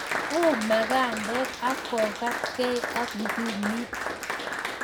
Uu makandek ak kokatkei ak ngumit